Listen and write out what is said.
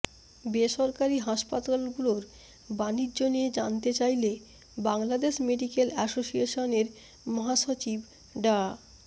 বেসরকারি হাসপাতালগুলোর বাণিজ্য নিয়ে জানতে চাইলে বাংলাদেশ মেডিক্যাল অ্যাসোসিয়েশনের মহাসচিব ডা